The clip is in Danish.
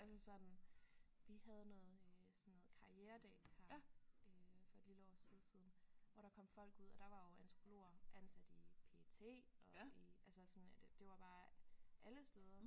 Altså sådan vi havde noget øh sådan noget karrieredag her øh for et lille års tid siden hvor der kom folk ud og der var jo antropologer ansat i PET og i altså sådan at det var bare alle steder